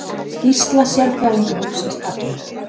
Skýrsla sérfræðingahópsins gagnleg